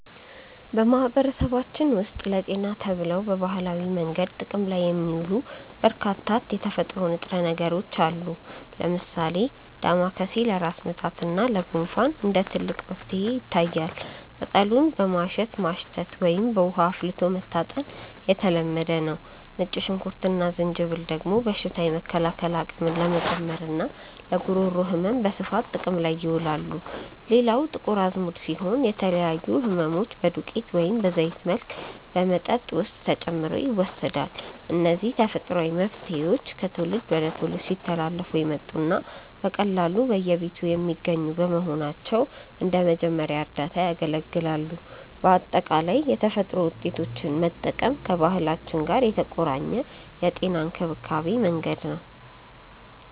በማህበረሰባችን ውስጥ ለጤና ተብለው በባህላዊ መንገድ ጥቅም ላይ የሚውሉ በርካታ የተፈጥሮ ንጥረ ነገሮች አሉ። ለምሳሌ ዳማከሴ ለራስ ምታት እና ለጉንፋን እንደ ትልቅ መፍትሄ ይታያል፤ ቅጠሉን በማሸት ማሽተት ወይም በውሃ አፍልቶ መታጠን የተለመደ ነው። ነጭ ሽንኩርት እና ዝንጅብል ደግሞ በሽታ የመከላከል አቅምን ለመጨመርና ለጉሮሮ ህመም በስፋት ጥቅም ላይ ይውላሉ። ሌላው ጥቁር አዝሙድ ሲሆን፣ ለተለያዩ ህመሞች በዱቄት ወይም በዘይት መልክ በመጠጥ ውስጥ ተጨምሮ ይወሰዳል። እነዚህ ተፈጥሯዊ መፍትሄዎች ከትውልድ ወደ ትውልድ ሲተላለፉ የመጡና በቀላሉ በየቤቱ የሚገኙ በመሆናቸው እንደ መጀመሪያ እርዳታ ያገለግላሉ። በአጠቃላይ የተፈጥሮ ውጤቶችን መጠቀም ከባህላችን ጋር የተቆራኘ የጤና እንክብካቤ መንገድ ነው።